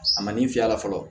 A ma min fiyɛ a la fɔlɔ